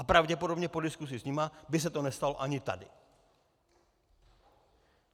A pravděpodobně po diskuzi s nimi by se to nestalo ani tady.